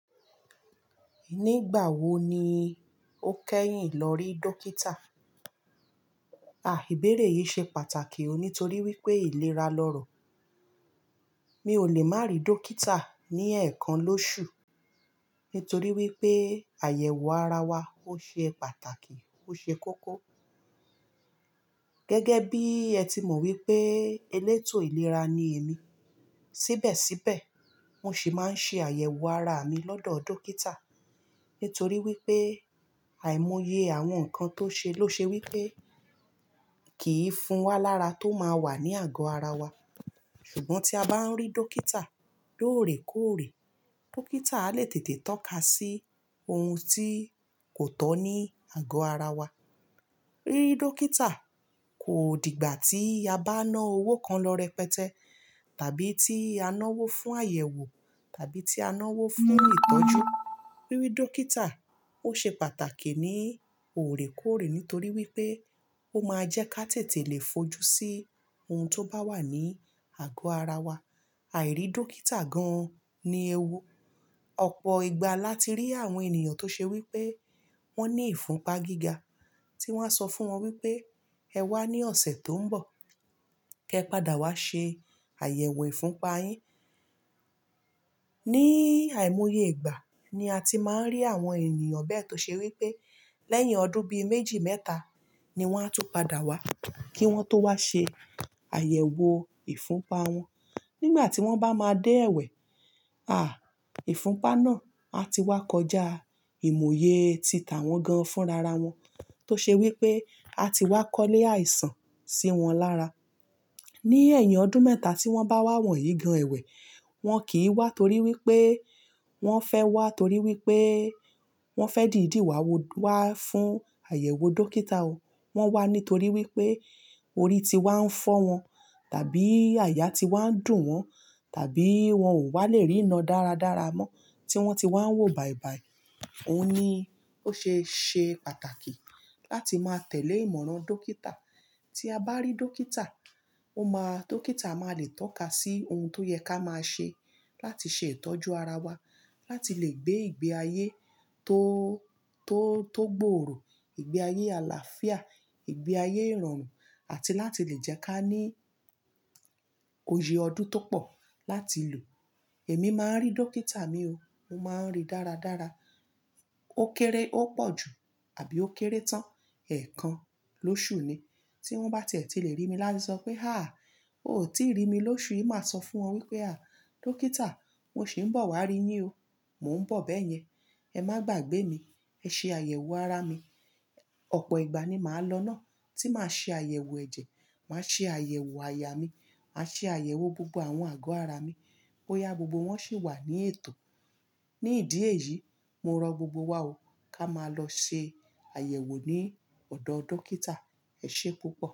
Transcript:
Nígbà wo ni o kẹ́yìn lọ rí dókítà? Àh, ìbéèrè yìí ṣe pàtàkì o, nítorí wípé ìlera lọ̀rọ̀. Mi ò lè má ri dókítà ní ẹ̀ẹ̀kan lóṣù, nítorí wípé àyẹ̀wò ara wa ó ṣe pàtàkì, ó ṣe kókó. Gẹ́gẹ́ bí ẹ ti mọ wípé elétò ìlera ni èmi. Síbẹ̀síbẹ̀, mo sì máa ń ṣe àyẹ̀wò ara mi lọ́dọ̀ dókítà. Nítorí wípé àìmọ̀yé àwọn ǹkan tó ṣe ló ṣe wípé kì í fún wa lára tó máa wà ní àgọ́ ara wa. Ṣùgbọ́n tí a bá ń rí dókítà lóòrèkóòrè, dókítà a le tètè tọ́ka sí ohun tí kò tọ́ ní àgọ́ ara wa. Rí dókítà kò dìgbà tí a bá na owó kan lọ rẹpẹtẹ tàbí tí a ná owó fún àyẹ̀wò tàbí tí a ná owó fún ìtọ́jú. Rí dókítà ó ṣe pàtàkì ní òrèkóòrè nítorí wípé ó máa jẹ́ ká tètè lè fojú sí ohun tó bá wà ní àgọ́ ara wa. Àì rí dókítà gan-an ní ewu. Ọ̀pọ̀ ìgbà láti rí àwọn ènìyàn tó ṣe wípé wón ní ìfunpa gíga tí wón á sọ fún wọn wípé ẹ wá ní ọ̀sẹ̀ tó ń bọ̀, kí ẹ padà wá ṣe àyẹ̀wò ìfunpa yín. Ní àìmọ̀yé ìgbà ni a ti máa ń rí àwọn ènìyàn bẹ́ẹ̀ tó ṣe wípé lẹ́yìn ọdún bí méjì mẹ́ta ni wón á tún padà wá kí wón tó wá ṣe àyẹ̀wò ìfunpa wọn. Nígbà tí wón bá máa dé ẹ̀wẹ̀, àh, ìfunpa náà ti wá kọjá ìmòye tita wọn gan-an fún rara wọn tó ṣe wípé a ti wá kọ́lé àìsàn sí wọn lára. Ní ẹ̀yìn ọdún mẹ́ta tí wón bá wà wọ̀nyí gan-an ẹ̀wẹ̀, wọn kì í wá torí wípé wọn fẹ́ wá torí wípé wọn fẹ́ dìdí wá wo, wá fún àyẹ̀wò dókítà o. Wón wá nítorí wípé orí ti wá ń fọ́ wọn tàbí àyà ti wá ń dùn wọn tàbí wọn ò wá le rí iná dáradára mọ́ tí wón ti wá ń wò bàìbàì. Ó ní, ó ṣe ṣe pàtàkì láti máa tẹ̀lé ìmọ̀ràn dókítà. Tí a bá rí dókítà, ó máa, dókítà máa le tọ́ka sí ohun tó yẹ ká máa ṣe láti ṣe ìtọ́jú ara wa, láti lè gbé ìgbé ayé tó, tó, tó gbòòrò, ìgbé ayé àlàáfíà, ìgbé ayé ìrọ̀rùn àti láti lè jẹ́ ká ní oyè ọdún tó pọ̀ láti lò. Èmi máa ń rí dókítà mi o. Mo máa ń rí dáradára. Ó kéré, ó pọ̀ jù àbí ó kéré tán ẹ̀ẹ̀kan lóṣù ni. Tí wón bá tètè le rí mi láti sọ pé "àh, o ò tíì rí mi lóṣù yìí" màá sọ fún wọn wípé "àh, dókítà, mo sì ń bọ̀ wá rí yín o, mò ń bọ̀ bẹ́yẹn, ẹ má gbagbé mi, ẹ ṣe àyẹ̀wò ara mi. Ọ̀pọ̀ ìgbà ni màá lọ náà tí màá ṣe àyẹ̀wò ẹ̀jẹ̀, màá ṣe àyẹ̀wò àyà mi, màá ṣe àyẹ̀wò gbogbo àwọn àgọ́ ara mi bóyá gbogbo wọn sì wà ní ètò. Ní ìdí èyí, mo rọ gbogbo wa o ká máa lọ ṣe àyẹ̀wò ní ọ̀dọ̀ dókítà. Ẹ ṣé púpọ̀.